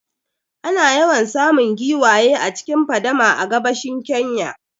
Ana yawan samun giwaye a cikin fadama a gabashin Kenya